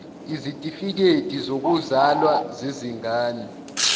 izitifikedi zokuzalwa zezingane